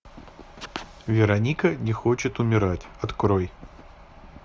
вероника не хочет умирать открой